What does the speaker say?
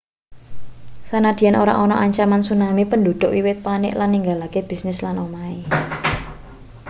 sanadyan ora ana ancaman tsunami penduduk wiwit panik lan ninggalake bisnis lan omahe